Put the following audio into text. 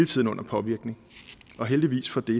tiden under påvirkning og heldigvis for det